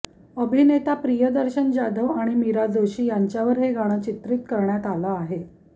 अभिनेता प्रियदर्शन जाधव आणि मीरा जोशी यांच्यावर हे गाणं चित्रित करण्यात आलं आहे